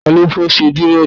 Ta ló fẹ́ ṣe dírẹ̀dì?